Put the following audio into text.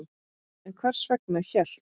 En hvers vegna hélt